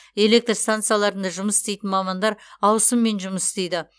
электр станцияларында жұмыс істейтін мамандар ауысыммен жұмыс істейді